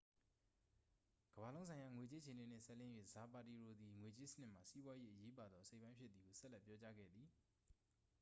"ကမ္ဘာလုံးဆိုင်ရာ ငွေကြေးအခြေအနေနှင့် စပ်လျဉ်း၍ ဇာပါတီရိုသည် "ငွေကြေးစနစ်မှာ စီးပွားရေး၏ အရေးပါသော အစိတ်အပိုင်းဖြစ်သည်" ဟု ဆက်လက်ပြောကြားခဲ့သည်။